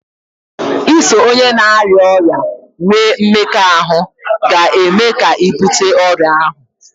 iso onye na-arịa ọrịa nwee mmekọahụ ga-eme ka ị bute ọrịa ahụ